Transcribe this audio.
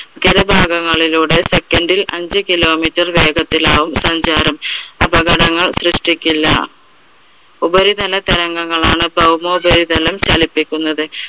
ചില ഭാഗങ്ങളിലൂടെ second ൽ അഞ്ച് kilometer വേഗത്തിലാകും സഞ്ചാരം, അപകങ്ങൾ സൃഷ്ടിക്കില്ല. ഉപരിതല തരംഗങ്ങളാണ് ഭൗമോപരിതലം ചലിപ്പിക്കുന്നത്.